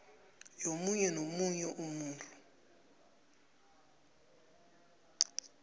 yomunye nomunye umuntu